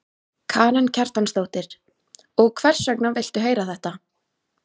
Karen Kjartansdóttir: Og hvers vegna viltu heyra þetta?